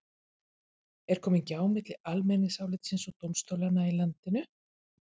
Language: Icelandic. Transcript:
Er komin gjá milli almenningsálitsins og dómstólanna í landinu?